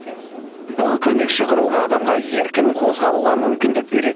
бұл көмекші құрылғы адамға еркін қозғалуға мүмкіндік береді